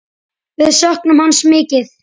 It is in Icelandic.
Við söknum hans mikið.